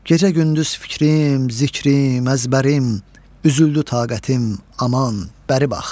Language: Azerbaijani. Gecə-gündüz fikrim, zikrim, əzbərim, üzüldü taqətim, aman, bəri bax!